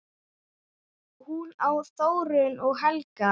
Hún á Þórunni og Helga.